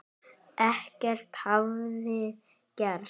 Ekkert hafi gerst.